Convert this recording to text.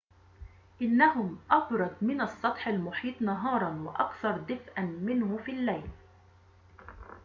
إنهم أبرد من السطح المحيط نهاراً وأكثر دفئاً منه في الليل